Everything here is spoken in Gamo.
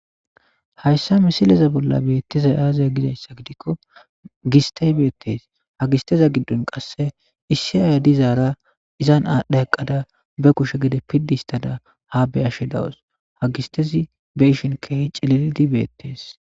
hayssa misileza bolla beettezay aaziya gizayssa gidikko gistey beettes ha gisteza giddon qasse issi aaya dizaara izan aadhdha eqqada be kushe gide piddi histada ha be ashe dawus ha gistezi be ishin keehi cililidi beettees